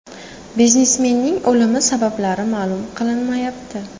Biznesmenning o‘limi sabablari ma’lum qilinmayapti.